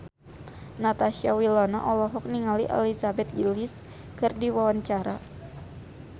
Natasha Wilona olohok ningali Elizabeth Gillies keur diwawancara